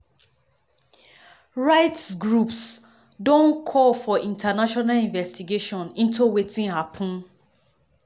rights groups don call for international investigation into wetin happun.